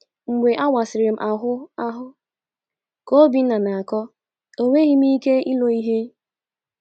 “ Mgbe a wasịrị m ahụ ahụ, ” ka Obinna na - akọ, “ enweghị m ike ilo ihe.